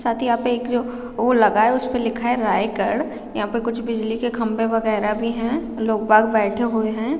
साथ ही यहाँ पे एक जो वो लगा है उसपे लिखा है रायगढ़ यहाँ पे कुछ बिजली के खंबे वगेरा भी है लोग - बाग बैठे हुए है।